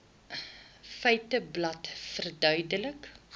feiteblad verduidelik